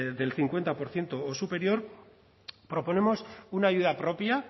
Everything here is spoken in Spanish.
del cincuenta por ciento o superior proponemos una ayuda propia